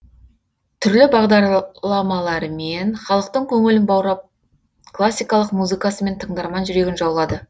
түрлі бағдарламаларымен халықтың көңілін баурап классикалық музыкасымен тыңдарман жүрегін жаулады